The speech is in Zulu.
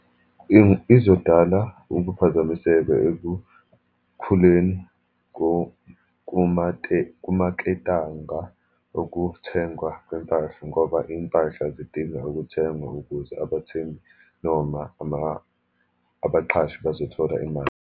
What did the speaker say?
Izodala ukuphazamiseka ekukhuleni kumaketanga okuthengwa kwempahla, ngoba iy'mpahla zidinga ukuthengwa ukuze abathengi, noma ama, abaqashi bazothola imali.